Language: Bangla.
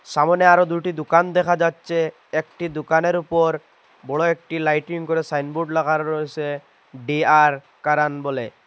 সামনে আরও দুটি দোকান দেখা যাচ্ছে একটি দোকানের উপর বড় একটি লাইটিং করে সাইনবোর্ড লাগানো রয়েসে ডিয়ার কারান বলে।